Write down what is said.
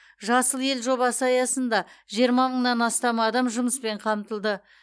жасыл ел жобасы аясында жиырма мыңнан астам адам жұмыспен қамтылды